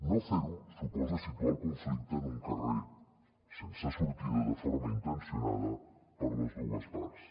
no fer ho suposa situar el conflicte en un carrer sense sortida de forma intencionada per les dues parts